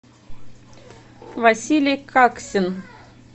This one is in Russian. василий каксин